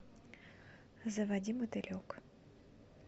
заводи мотылек